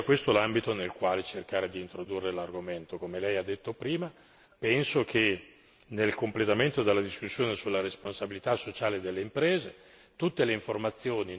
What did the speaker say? Come lei ha detto prima, penso che nel completamento della discussione sulla responsabilità sociale delle imprese, tutte le informazioni non direttamente economiche debbano comprendere anche questo punto.